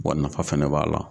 Bɔn nafa fɛnɛ b'a la